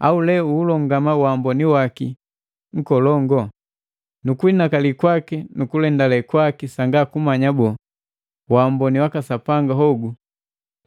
Au lee uhulongama waamboni waki nkolongo, na kuinakali kwaki nukulendale kwaki sanga kumanya boo, waamboni waka Sapanga hogu